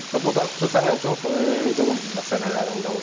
Və bu da xüsusən ən çox hücum məsələlərində olur.